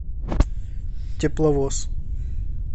тепловоз